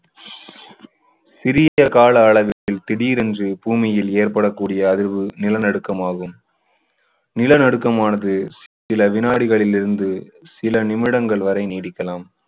சிறிய கால அளவில் திடீரென்று பூமியில் ஏற்படக்கூடிய அதிர்வு நிலநடுக்கம் ஆகும். நிலநடுக்கம் ஆனது சில வினாடிகளில் இருந்து சில நிமிடங்கள் வரை நீடிக்கலாம்.